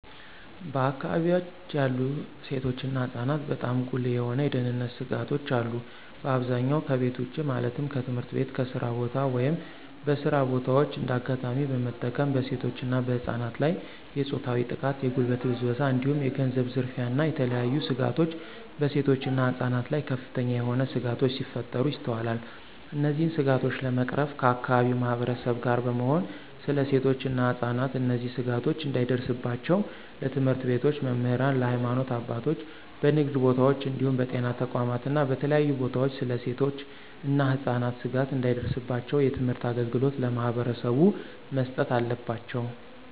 በአከባቢወች ያሉ ሴቶች እና ህፃናትበጣም ጉልህ የሆኑ የደህንነት ስጋቶች አሉ። በአብዛኛው ከቤት ውጭ ማለትም ከትምህርት ቤት፣ ከስራ ቦታ፣ ወይም በስራ በታዎች እንደ አጋጣሚ በመጠቀም በሴቶች እና በህፃናት ላይ የፆታዊ ጥቃት፣ የጉልበት ብዝበዛ እንዲሁም የገንዘብ ዝርፊያ እና የተለያዬ ስጋቶች በሴቶች እና ህፃናት ላይ ከፍተኛ የሆነ ስጋቶች ሲፈጠሩ ይስተዋላል። እነዚህን ስጋቶች ለመቅረፍ ከአከባቢው ማህበረሰብ ጋር በመሆን ስለ ሴቶች እና ህፃናት እነዚህ ስጋቶች እንዳይደርስባቸው ለትምህርት ቤቶች መምህራን፣ ለሀይማኖት አባቶች፣ በንግድ ቦታወች እንዲሁም በጤና ተቋማት እና በተለያዩ ቦታወች ስለ ሴቶች እና ህፃናት ስጋት እንዳይደርስባቸው የትምህርት አገልግሎት ለማህበረሰቡ መስጠት አለባቸው።